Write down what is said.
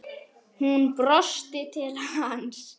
Hún brosti til hans.